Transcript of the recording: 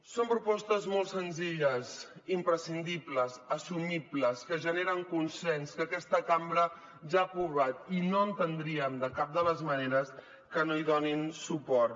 són propostes molt senzilles imprescindibles assumibles que generen consens que aquesta cambra ja ha aprovat i no entendríem de cap de les maneres que no hi donin suport